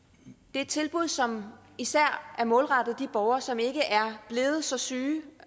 er et tilbud som især er målrettet de borgere som ikke er blevet så syge